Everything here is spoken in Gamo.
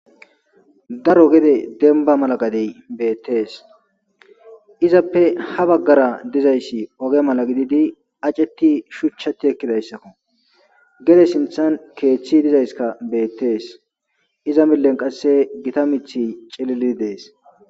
Daro gede demba mala gadeyi beetesi, izappe ha bagara dizaysi oge mala gidid aceti shuchatj ekidaydako ,gede sinthani keethi dizayska betes, iza milen qase Gita mithiy cilil Desi.